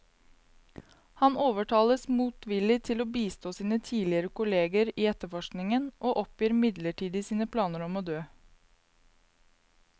Han overtales motvillig til å bistå sine tidligere kolleger i etterforskningen, og oppgir midlertidig sine planer om å dø.